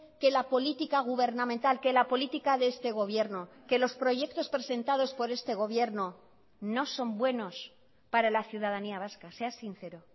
que la política gubernamental que la política de este gobierno que los proyectos presentados por este gobierno no son buenos para la ciudadanía vasca sea sincero